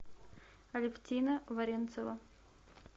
алевтина варенцева